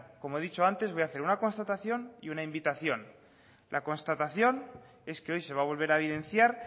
como he dicho antes voy a hacer una constatación y una invitación la constatación es que hoy se va a volver a evidenciar